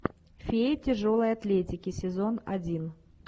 феи тяжелой атлетики сезон один